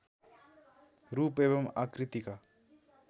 रूप एवं आकृतिका